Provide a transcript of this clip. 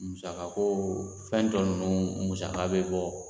Musaka ko fɛn tɔ ninnu musaka bɛ bɔ.